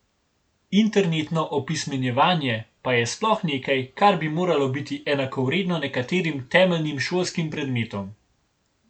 Internetno opismenjevanje pa je sploh nekaj, kar bi moralo biti enakovredno nekaterim temeljnim šolskim predmetom.